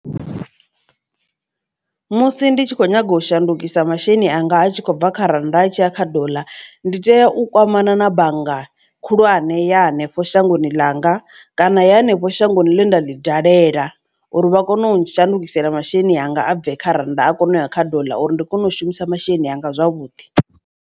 Musi ndi tshi kho nyaga u shandukisa masheleni anga a tshi khou bva kha rannda a tshiya kha doḽa ndi tea u kwamana na bannga khulwane ya hanefho shangoni ḽanga kana ya henefho shangoni ḽenda ḽi dalela uri vha kone u shandukisela masheleni anga a bve kha rannda a kone u ya kha doḽa uri ndi kone u shumisa masheleni anga zwavhuḓi.